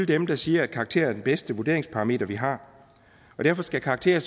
dem der siger at karakterer er den bedste vurderingsparameter vi har og derfor skal karakterer